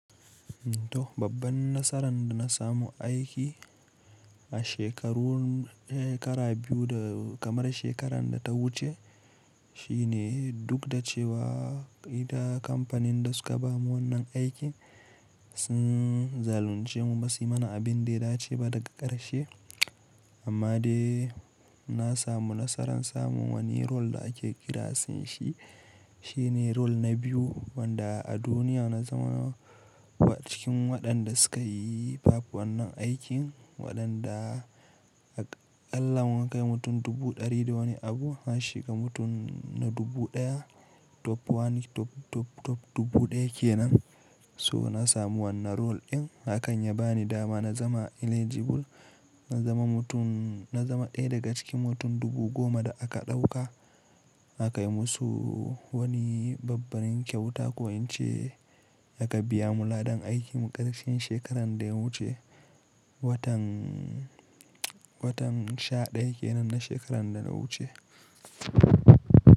To babban nasaran da na samu aiki a shekaru, shekara biyu da kamar shekaran da ta wuce shine duk da cewa ita kamfanin da suka ba mu wannan aikin sun zalunce mu ba su mana abin da ya dace ba daga ƙarshe. Amma dai na samu nasarar samun wani role da ake kiransa shi, shine role na biyu wanda a duniya na zama wa cikin waɗanda suka yi pap wannan aikin waɗanda allahn wan kai mutum dubu ɗari da wani abu an shiga mutum na dubu ɗaya top wani top, top, top dubu ɗaya kenan. So na samu wannan role din hakan ya bani dama na zama eligible, na zama mutum, na zama ɗaya daga cikin mutum dubu goma da aka ɗauka aka yi musu wani babban kyauta ko in ce aka biya mu ladan aikin ƙarshen shekaran da ya wuce. Watan, watan sha ɗaya kenan na shekaran da ya wuce.